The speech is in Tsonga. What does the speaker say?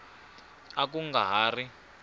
a ku nga ha ri